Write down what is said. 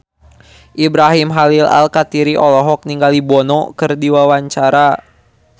Ibrahim Khalil Alkatiri olohok ningali Bono keur diwawancara